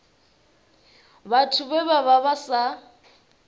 vhathu vhe vha vha sa